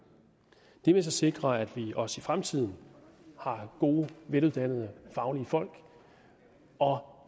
det vil sikre at vi også i fremtiden har gode veluddannede faglige folk og